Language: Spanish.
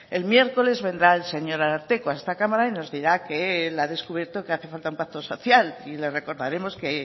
el miércoles vendrá el señor ararteko a esta cámara y nos dirá que él ha descubierto que hace falta un pacto social y le recordaremos que